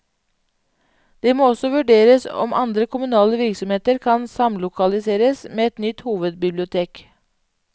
Det må også vurderes om andre kommunale virksomheter kan samlokaliseres med et nytt hovedbibliotek.